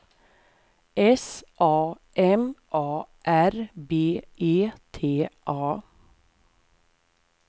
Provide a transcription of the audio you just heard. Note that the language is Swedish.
S A M A R B E T A